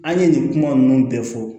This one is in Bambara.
An ye nin kuma ninnu bɛɛ fɔ